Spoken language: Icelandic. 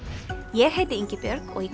ég heiti Ingibjörg og í